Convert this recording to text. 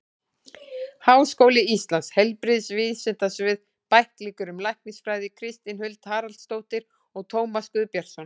Háskóli Íslands: Heilbrigðisvísindasvið- Bæklingur um læknisfræði Kristín Huld Haraldsdóttir og Tómas Guðbjartsson.